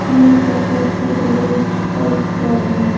यह तस्वीर Puja rest house का है।